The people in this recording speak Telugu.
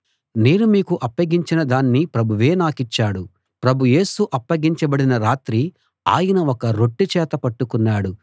నేను మీకు అప్పగించిన దాన్ని ప్రభువే నాకు ఇచ్చాడు ప్రభు యేసు అప్పగించబడిన రాత్రి ఆయన ఒక రొట్టె చేత పట్టుకున్నాడు